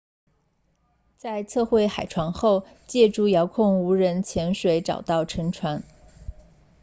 在测绘海床后借助遥控无人潜水器 rov 找到了沉船